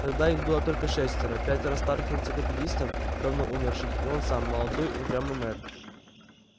тогда их было только шестеро пятеро старых энциклопедистов давно умерших и он сам молодой упрямый мэр